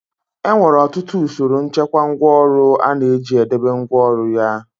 E nwere ọtụtụ usoro nchekwa ngwáọrụ ọ na-eji e debe ngwáọrụ ya.